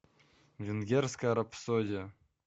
венгерская рапсодия